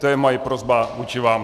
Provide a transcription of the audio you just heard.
To je moje prosba vůči vám.